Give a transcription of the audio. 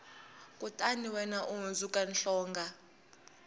kutani wena u hundzuka hlonga